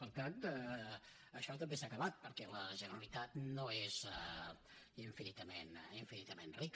per tant això també s’ha acabat perquè la generalitat no és infinitament rica